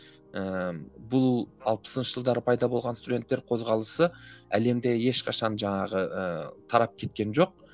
ііі бұл алпысыншы жылдары пайда болған студенттер қозғалысы әлемде ешқашан жаңағы ыыы тарап кеткен жоқ